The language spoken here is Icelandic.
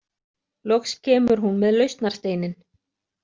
Loks kemur hún með lausnarsteininn.